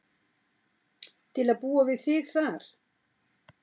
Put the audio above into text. Til að búa við þig þar.